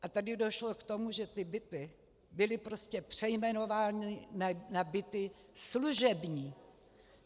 A tady došlo k tomu, že ty byty byly prostě přejmenovány na byty služební.